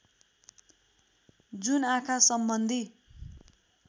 जुन आँखा सम्बन्धी